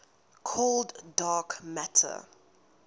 cold dark matter